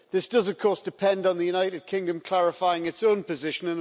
This does, of course, depend on the United Kingdom clarifying its own position.